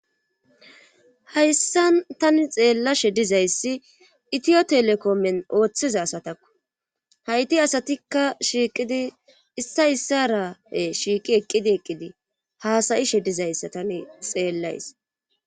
Hayssan tani xeella she dizayssi itiyo telekomen ooththiza asatakku hayti asatikka shiiqidi issa issarae shiiqi eqqidi eqqidi haasayi sheddizayssa tani xeellays.